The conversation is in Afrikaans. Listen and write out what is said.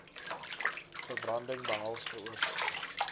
verbranding behels veroorsaak